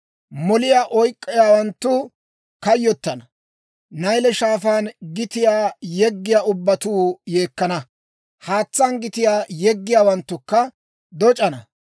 Moliyaa oyk'k'iyaawanttu kayyottana. Nayle Shaafaan gitiyaa yeggiyaa ubbatuu yeekkana; haatsaan gitiyaa yeggiyaawanttukka doc'c'ana.